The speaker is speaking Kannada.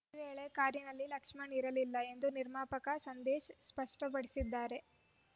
ಈ ವೇಳೆ ಕಾರಿನಲ್ಲಿ ಲಕ್ಷ್ಮಣ್‌ ಇರಲಿಲ್ಲ ಎಂದು ನಿರ್ಮಾಪಕ ಸಂದೇಶ್‌ ಸ್ಪಷ್ಟಪಡಿಸಿದ್ದಾರೆ